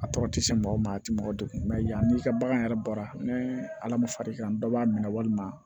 A tɔgɔ tɛ se maa o maa a tɛ mɔgɔ degun yanni i ka bagan yɛrɛ baara ni ala ma far'i kan dɔ b'a minɛ walima